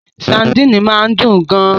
Sadini máa ń dùn gan-an